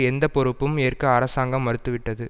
எந்த பொறுப்பும் ஏற்க அரசாங்கம் மறுத்துவிட்டது